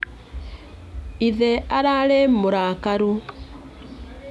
Ithe ararĩ mũrakaru.